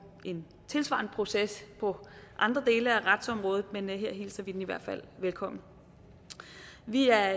en tilsvarende proces på andre dele af retsområdet men her hilser vi den i hvert fald velkommen vi er